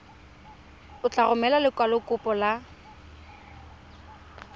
o tla romela lekwalokopo la